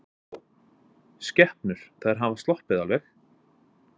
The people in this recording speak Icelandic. Viggó: Skepnur, þær hafa sloppið alveg?